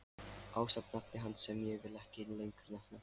Ásamt nafni hans sem ég vil ekki lengur nefna.